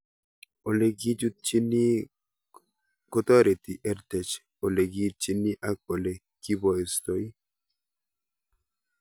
Ole kichutchini kotareti EdTech ole kiitchini ak ole kipoistoi